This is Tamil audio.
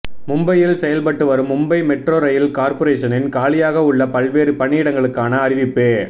மும்பையில் செயல்பட்டு வரும் மும்பை மெட்ரோ ரயில் கார்ப்பரேஷனில் காலியாக உள்ள பல்வேறு பணியிடங்களுக்கான அறிவிப்பு